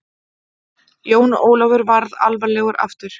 Jón Ólafur varð alvarlegur aftur.